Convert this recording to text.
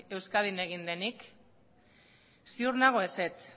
euskadin egin denik ziur nago ezetz